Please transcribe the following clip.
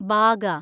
Baga